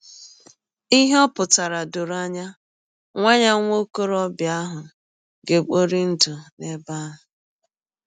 Ihe ọ pụtara dọrọ anya: Nwa anya: Nwa ọkọrọbịa ahụ ga - ekpọri ndụ n’ebe ahụ.